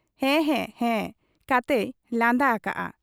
ᱦᱮᱸ ᱦᱮᱸ ᱦᱮᱸ ᱠᱟᱛᱮᱭ ᱞᱟᱸᱫᱟ ᱟᱠᱟᱜ ᱟ ᱾'